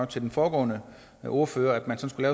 til den foregående ordfører at man skulle